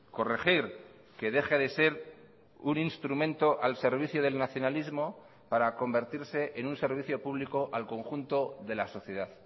corregir que deje de ser un instrumento al servicio del nacionalismo para convertirse en un servicio público al conjunto de la sociedad